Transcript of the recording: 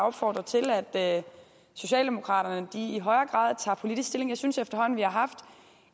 opfordre til at socialdemokraterne i højere grad tager politisk stilling jeg synes efterhånden vi har haft